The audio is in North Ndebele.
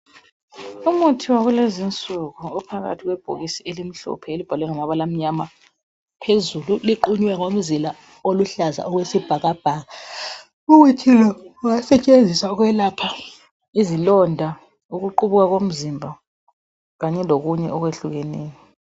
Umuthi wakulezi insuku ophakathi kwebhokisi elimhlophe elibhalwe ngamabala amnyama phezulu liqunywe ngomzila oluhlaza okwesibhakabhaka umuthi lo ungasetshenziswa ukwelapha izilonda ukuqubuka komzimba kanye lokunye okwehlukeneyo.